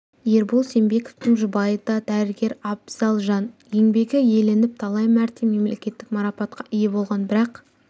ербол сембековтың жұбайы да дәрігер абзал жан еңбегі еленіп талай мәрте мемлекеттік марапатқа ие болған бірақ